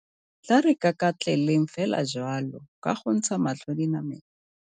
Tla re kakatleleng fela jalo, ka go ntsha matlho dinameng.